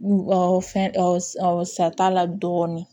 Fɛn ɔ sa t'a la dɔɔnin